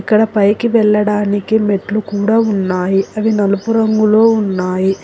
ఇక్కడ పైకి వెళ్లడానికి మెట్లు కూడా ఉన్నాయి అవి నలుపు రంగులో ఉన్నాయి.